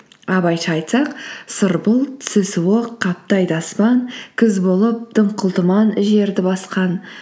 абайша айтсақ сұр бұлт түсі суық қаптайды аспан күз болып дымқыл тұман жерді басқан